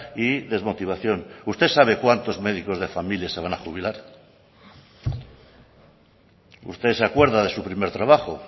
y desmotivación usted sabe cuántos médicos de familia se van a jubilar usted se acuerda de su primer trabajo